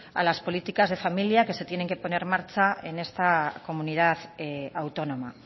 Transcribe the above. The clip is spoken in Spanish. a las políticas de familia que se tienen que poner en marcha en esta comunidad autónoma